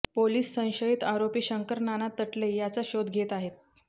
police संशयित आरोपी शंकर नाना तटले याचा शोध घेत आहेत